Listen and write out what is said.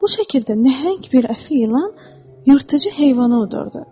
Bu şəkildə nəhəng bir əfi ilan yırtıcı heyvanı udurdu.